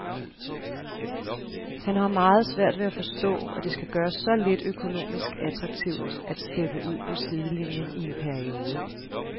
Han har meget svært ved at forstå, at det skal gøres så lidt økonomisk attraktivt at steppe ud på sidelinien i en periode.